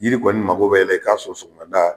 Yiri kɔni mago bɛ i la i k'a sɔ sɔgɔmada